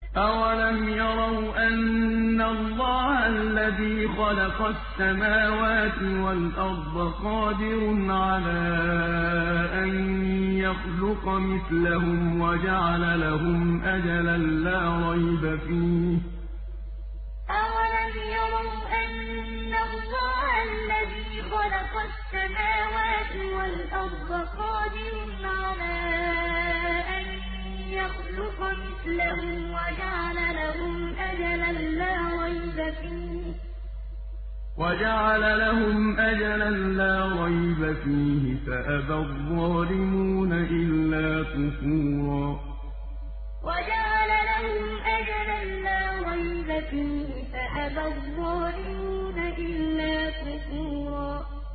۞ أَوَلَمْ يَرَوْا أَنَّ اللَّهَ الَّذِي خَلَقَ السَّمَاوَاتِ وَالْأَرْضَ قَادِرٌ عَلَىٰ أَن يَخْلُقَ مِثْلَهُمْ وَجَعَلَ لَهُمْ أَجَلًا لَّا رَيْبَ فِيهِ فَأَبَى الظَّالِمُونَ إِلَّا كُفُورًا ۞ أَوَلَمْ يَرَوْا أَنَّ اللَّهَ الَّذِي خَلَقَ السَّمَاوَاتِ وَالْأَرْضَ قَادِرٌ عَلَىٰ أَن يَخْلُقَ مِثْلَهُمْ وَجَعَلَ لَهُمْ أَجَلًا لَّا رَيْبَ فِيهِ فَأَبَى الظَّالِمُونَ إِلَّا كُفُورًا